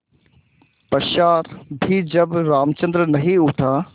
पश्चार भी जब रामचंद्र नहीं उठा